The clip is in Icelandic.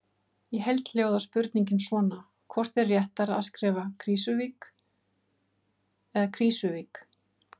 Í heild hljóðar spurningin svona: Hvort er réttara að skrifa Krýsuvík eða Krísuvík?